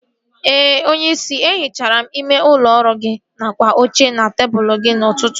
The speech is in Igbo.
Ee onyeisi, e hichara m ime ụlọ ọrụ gị nakwa oche na tebụl gị n'ụtụtụ a